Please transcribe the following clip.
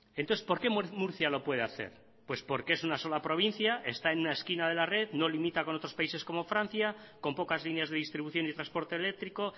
entonces por qué murcia lo puede hacer pues porque es una sola provincia está en una esquina de la red no limita con otros países como francia con pocas líneas de distribución y transporte eléctrico